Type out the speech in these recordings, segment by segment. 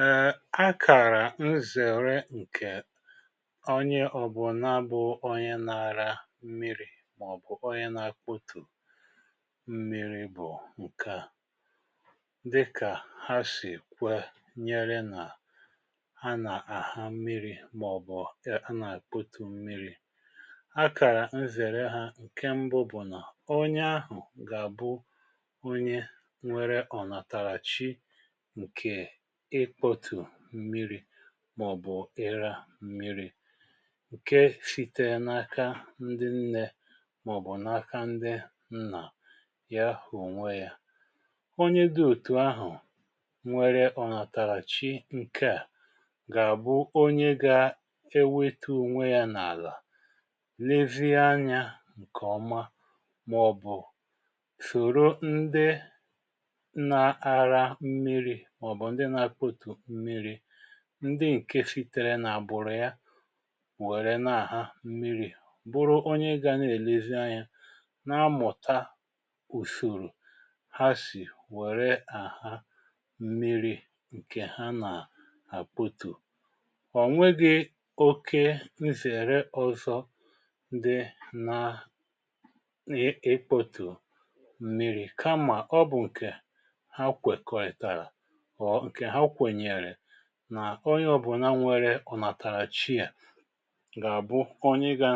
um Akara nzere nke ọnye ọ̀bụ̀naa bụ̀ ọnye na raa mmiri̇ maọ̀bụ̀ ọnye na-akpọtụ̀ mmiri̇ bụ̀ nkea. Dịka ha sì kwe nyere na a na-aha mmiri̇ maọ̀bụ̀ a na-akpọtù mmiri̇ akara m zere ha nke mbụ bụ̀ na ọnye ahụ̀ ga bụ ọnye nwere ọ̀natara chi nke ikpọtụ mmiri maọ̀bụ̀ ịra mmiri̇ nke sìtere n’aka ndi nne maọ̀bụ̀ n’aka ndi nna ya hụ̀ ọnwe ya. Ọnye di ọ̀tù ahụ̀ nwere ọ natara chi nkea ga-abụ ọnye ga-ewetụ ọnwe ya n’ala nevie anya nke ọma maọ̀bụ̀ sọ̀rọ ndi na-ara mmiri̇ maọbụ ndị na akpọtụ mmiri ndị nke sitere na-agbụ̀rụ̀ ya were na-aha mmiri̇ bụrụ ọnye ga n’elezi nya na-amụ̀ta ùsọ̀rọ̀ ha sì were aha mmiri̇ nke ha na akpọtụ̀. Ọ̀ nwegị̇ ọke nsere ọzọ dị na ị ịkpọtụ̀ mmiri̇ kama ọ bụ̀ nke ha kwekọrị̀tara or nke ha kwenyere na ọnye ọ̀bụ̀na nwẹrẹ ọ natara chi a, ga abụ ọnye ga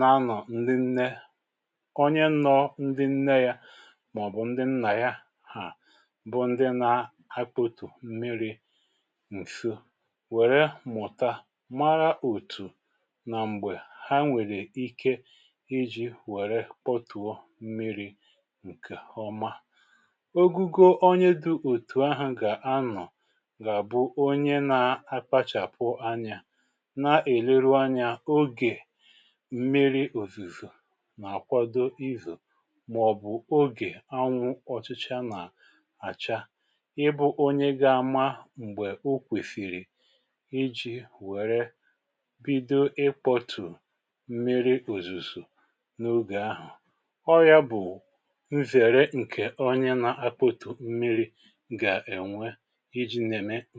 nọ̀ ndị nne, ọnye nnọ ndị nne ya maọ̀bụ̀ ndị nna ya ha, bụ̀ ndị na akpọ̀tù mmiri̇ nsọ, wẹ̀rẹ mụ̀ta mara ọ̀tù na m̀gbe ha nwere ike iji̇ wẹ̀rẹ kpọtụọ mmiri̇ nke ọma. Ọgụgọ ọnye dị ọtụ ahụ ga anọ ga bụ ọnye na-akpachapụ anya n’elerụ anya ọge m̀miri ọ̀zìzọ na akwadọ izọ maọ̀bụ̀ ọge anwụ ọ̀chịchaa na acha, ịbụ̇ ọnye ga-ama m̀gbe ọ kwesìrì iji̇ were bidọ ịkpọtù m̀miri ọ̀zụzọ̀ n’ọge ahụ̀. Ọ ya bụ̀ nzere nke ọnye na-akpọtù m̀miri ga enwe iji na-eme n